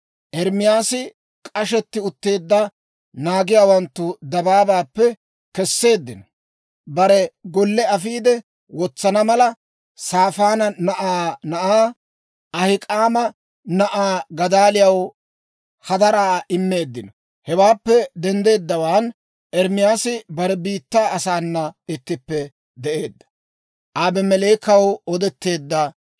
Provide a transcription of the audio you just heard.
Ermaasi k'ashetti utteedda, naagiyaawanttu dabaabaappe kesseeddino. Bare golle afiide wotsana mala, Saafaana na'aa na'aa, Ahik'aama na'aa Gadaaliyaw hadaraa immeeddino. Hewaappe denddeeddawaan Ermaasi bare biittaa asaana ittippe de'eedda.